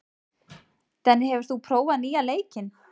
Denni, hefur þú prófað nýja leikinn?